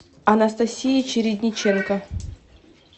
анастасии чередниченко